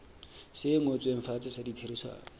se ngotsweng fatshe sa ditherisano